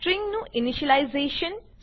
string નું initialisation